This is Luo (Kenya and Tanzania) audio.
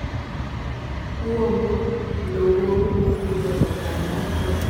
uomo lowow mopidhe oganda kod oduma.